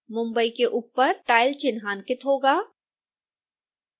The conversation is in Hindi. mumbai के ऊपर tile चिन्हांकित होगा